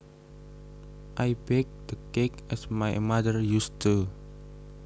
I baked the cake as my mother used to